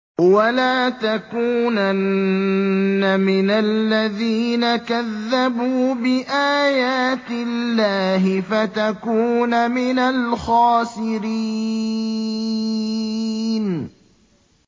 وَلَا تَكُونَنَّ مِنَ الَّذِينَ كَذَّبُوا بِآيَاتِ اللَّهِ فَتَكُونَ مِنَ الْخَاسِرِينَ